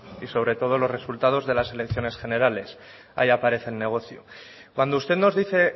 y sobre todo los resultados de las elecciones generales ahí aparece el negocio cuando usted nos dice